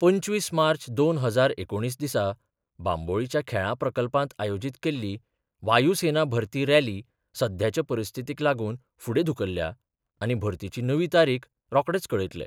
पंचवीस मार्च दोन हजार एकुणीस दिसा बांबोळीच्या खेळां प्रकल्पात आयोजित केल्ली वायूसेना भरती रॅली सध्याच्या परिस्थितीक लागून फुडें धुकल्ल्या आनी भरतीची नवीन तारीख रोखडेच कळयतले.